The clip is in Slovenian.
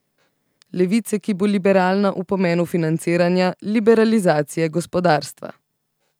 Levice, ki bo liberalna v pomenu financiranja, liberalizacije gospodarstva.